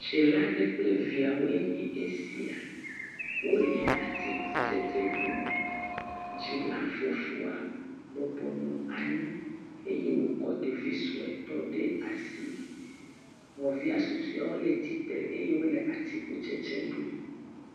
Dzila aɖe kple eviawoe nye esia, wole atikutsetse ɖum, dzila fofoa bɔbɔ nɔ anyi eye wòkɔ ɖevi suetɔ ɖe asi, nɔvia susɔea wole tsitre eye wole atikutsetse ɖum.